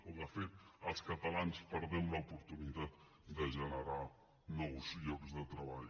o de fet els catalans perdem l’oportunitat de generar nous llocs de treball